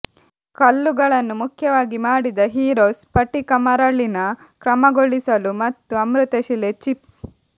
ಕಲ್ಲುಗಳನ್ನು ಮುಖ್ಯವಾಗಿ ಮಾಡಿದ ಹೀರೋಸ್ ಸ್ಫಟಿಕ ಮರಳಿನ ಕ್ರಮಗೊಳಿಸಲು ಮತ್ತು ಅಮೃತಶಿಲೆ ಚಿಪ್ಸ್